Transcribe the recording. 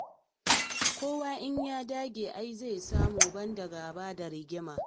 Kowa in ya dage ai zai samu, ban da gaba da rigima.